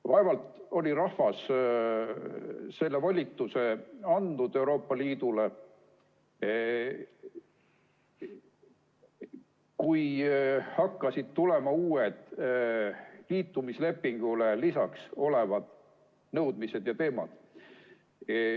Vaevalt oli rahvas selle volituse andnud Euroopa Liidule, kui hakkasid tulema uued nõudmised ja teemad liitumislepingule lisaks.